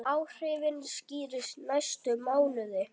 Áhrifin skýrist næstu mánuði.